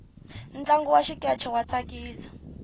ntlangu wa xikeche wa tsakisa